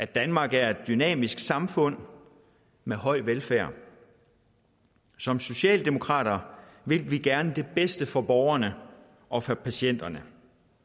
danmark er et dynamisk samfund med høj velfærd som socialdemokrater vil vi gerne det bedste for borgerne og for patienterne